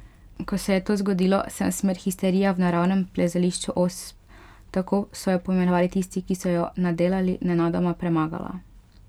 Ko se je to zgodilo, sem smer Histerija v naravnem plezališču Osp, tako so jo poimenovali tisti, ki so jo nadelali, nenadoma premagala.